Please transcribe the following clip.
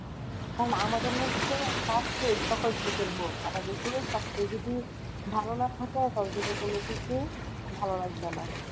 কারন আমাদের হচ্ছে স্বাস্থই সকল সুখের মোন আমাদের শরীর স্বাস্থ যদি ভালো না থাকে কারো কিন্তু কোনোকিছুই ভালো লাগবে না।